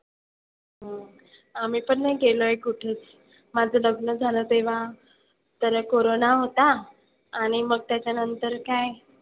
हम्म आम्ही पण नाही गेलोय कुठे. माझं लग्न झालं तेव्हा तर कोरोना होता. आणि मग त्याच्यानंतर काय,